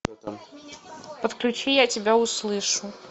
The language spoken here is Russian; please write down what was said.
подключи я тебя услышу